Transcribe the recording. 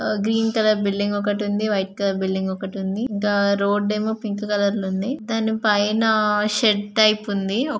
Green colour building ఒకటి ఉంది white colour building ఒకటి ఉంది. ఇంకా రోడ్ ఏమో పింక్ కలర్ ఉంది. దానిపైన షెడ్ టైప్ ఉంది.